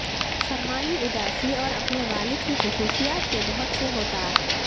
سرمائی اداسی اور اپنے والد کی خصوصیات کے بہت سے ہوتا